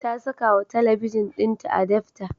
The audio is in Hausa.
Ta sakawa talabijin ɗinta adapta.